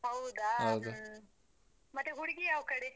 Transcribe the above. ಹೌದಾ ಹ್ಮ್. ಮತ್ತೆ ಹುಡ್ಗಿ ಯಾವ್ ಕಡೆ?